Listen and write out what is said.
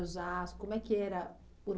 Osasco... como é que era?